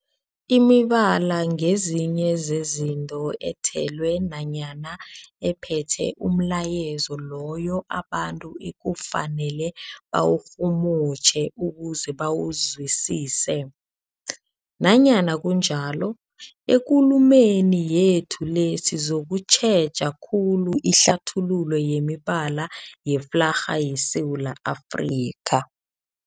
Imibala ngezinye zezinto ethelwe nanyana ephethe umlayezo loyo abantu ekufanele bawurhumutjhe ukuze bawuzwisise. Nanyana kunjalo, ekulumeni yethu le sizokutjheja khulu ihlathululo yemibala yeflarha yeSewula Afrika.